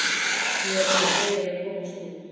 Ég er bara fegin að komast út!